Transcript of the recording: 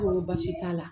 baasi t'a la